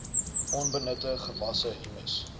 onbenutte gewasse humus